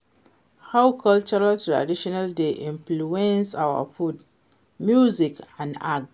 how cultural tradition dey influence our food, music and art?